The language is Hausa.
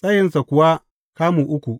tsayinsa kuwa kamu uku.